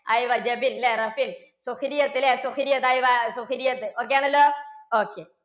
ല്ലേ? ല്ലേ? ok ആണല്ലോ. ok